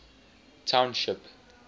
township